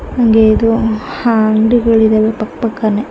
ಹಂಗೆ ಇದು ಅಹ್ ಅಂಗಡಿಗಳು ಇದಾವೆ ಪಕ್ಕ ಪಕ್ಕ ನೇ --